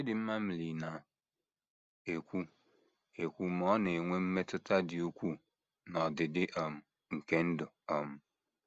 Chidinma Mili na - ekwu, ekwu, “ ma ọ na - enwe mmetụta dị ukwuu n’ọdịdị um nke ndụ um. ”